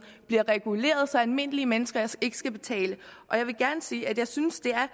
bliver reguleret så almindelige mennesker ikke skal betale og jeg vil gerne sige at jeg synes det er